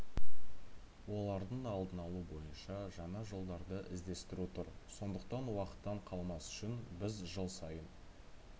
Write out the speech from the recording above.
олардың алдын алу бойынша жаңа жолдарды іздестіру тұр сондықтан уақыттан қалмас үшін біз жыл сайын